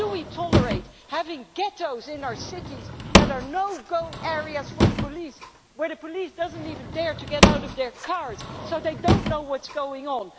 Why do we tolerate the existence of ghettos in our cities that are no go areas for the police where the police do not even dare to get out of their cars so they cannot know what is going